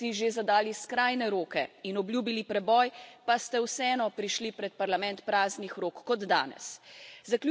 Kolikokrat ste si že zadali skrajne roke in obljubili preboj, pa ste vseeno prišli pred Parlament praznih rok?